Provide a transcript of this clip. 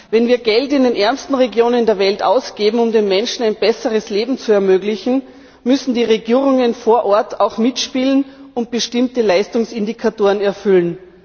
Wenn wir Geld in den ärmsten Regionen der Welt ausgeben, um den Menschen ein besseres Leben zu ermöglichen, müssen die Regierungen vor Ort auch mitspielen und bestimmte Leistungsindikatoren erfüllen.